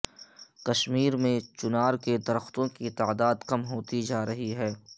کشمیر میں چنار کے درختوں کی تعداد کم ہوتی جارہی ہے